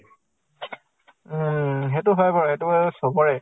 উম । সেইটো হয় বাৰু, সেইটো আৰু চবৰে